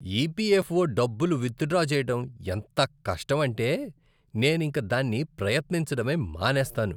EPFO డబ్బులు withdraw చేయడం ఎంత కష్టమంటే, నేనింక దాన్ని ప్రయత్నించడమే మానేస్తాను.